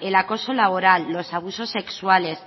el acoso laboral los abusos sexuales